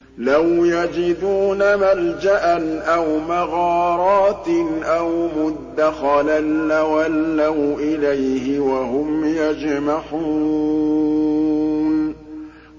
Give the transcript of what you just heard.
لَوْ يَجِدُونَ مَلْجَأً أَوْ مَغَارَاتٍ أَوْ مُدَّخَلًا لَّوَلَّوْا إِلَيْهِ وَهُمْ يَجْمَحُونَ